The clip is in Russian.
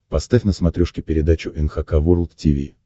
поставь на смотрешке передачу эн эйч кей волд ти ви